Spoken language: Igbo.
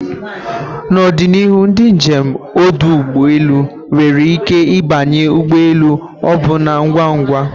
na ọdịnihu, ndị njem ọdụ ụgbọ elu nwere ike ịbanye ụgbọ elu ọbụna ngwa ngwa